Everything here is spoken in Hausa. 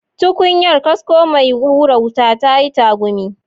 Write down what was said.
Tukunyar, kasko mai hura wuta, ta yi tagumi.